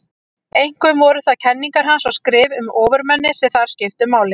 Einkum voru það kenningar hans og skrif um ofurmennið sem þar skiptu máli.